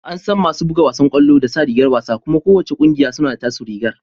An san masu buga wasan kwallon da sa rigar wasa kuma ko wanna kungiyar suna da taso rigar.